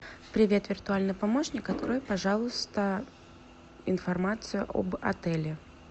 привет виртуальный помощник открой пожалуйста информацию об отеле